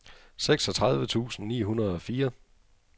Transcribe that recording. seksogtredive tusind ni hundrede og fire